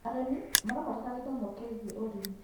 Arĩmĩ marabatara gĩthomo kĩĩgĩe ũrĩmĩ